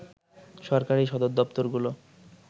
সরকারি সদরদপ্তরগুলো